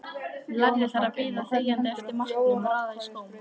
Lærði þar að bíða þegjandi eftir matnum, raða skóm.